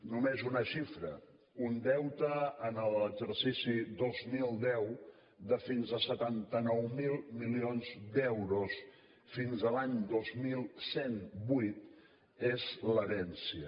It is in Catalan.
només una xifra un deute en l’exercici dos mil deu de fins a setanta nou mil milions d’euros fins a l’any dos mil cent i vuit n’és l’herència